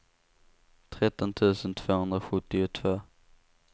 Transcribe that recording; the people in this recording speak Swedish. tretton tusen tvåhundrasjuttiotvå